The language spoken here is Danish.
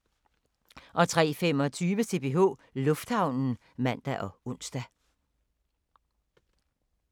03:25: CPH Lufthavnen (man og ons)